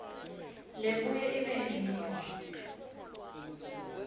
lebuye ibe ngiyo